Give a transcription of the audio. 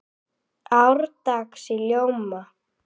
árdags í ljóma